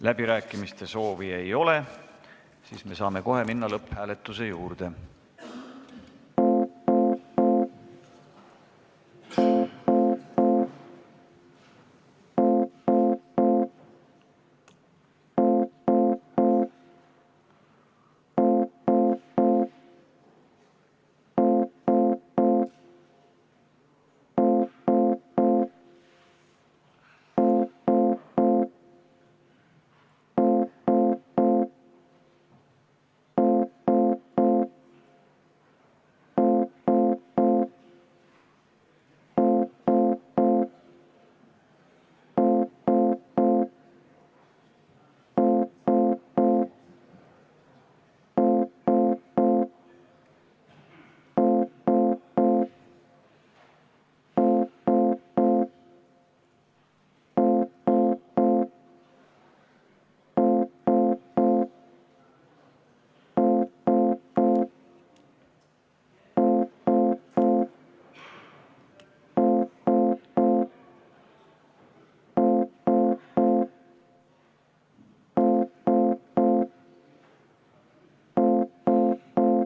Läbirääkimiste soovi ei ole, me saame kohe minna lõpphääletuse juurde.